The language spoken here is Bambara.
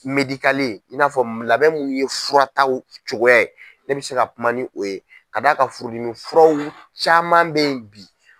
Medikale, in n'a fɔ labɛn munnu ye furataw cogoya ne bɛ se ka kuma ni o ye ka da kan furu dimi furaw caman bɛ yen bi.